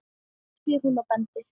spyr hún og bendir.